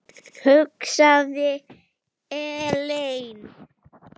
Ég hugsaði: Ellen?